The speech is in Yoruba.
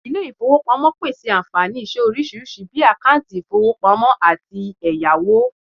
ile ifowopamopese anfani ise orisirisi bii akanti ifowopamo ati eyawo